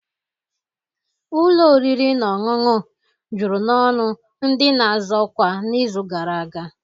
Ụlọ oriri na ọṅụṅụ juru n'ọnụ ndị na-azọ ọkwa n'izu gara aga